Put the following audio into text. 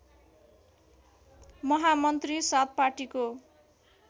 महामन्त्री सात पार्टीको